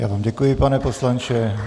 Já vám děkuji, pane poslanče.